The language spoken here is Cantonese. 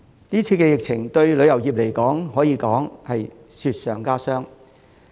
今次疫情對旅遊業來說，可說是雪上加霜。